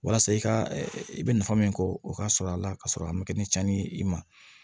Walasa i ka i bɛ nafa min kɔ o ka sɔrɔ a la ka sɔrɔ a ma kɛ ni cɛnni ye i ma